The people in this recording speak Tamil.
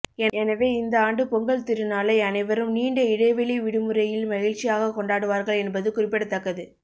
எனவே இந்த ஆண்டு பொங்கல் திருநாளை அனைவரும் நீண்ட இடைவெளி விடுமுறையில் மகிழிச்சியாக கொண்டாடுவார்கள் என்பது குறிப்பிடத்தக்கது